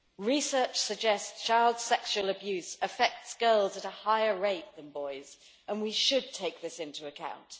Research suggests child sexual abuse affects girls at a higher rate than boys, and we should take this into account.